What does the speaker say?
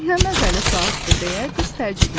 Nə məzəli saatdır deyə qız təəccübləndi.